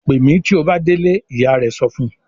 "Pè mí tí ó bá délé!" Ìyá rẹ̀ sọ fún un.